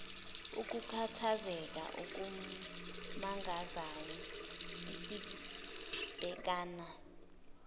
ukukhathazeka okumangazayo esibhekana